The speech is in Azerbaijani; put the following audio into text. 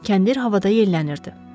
Kəndir havada yellənirdi.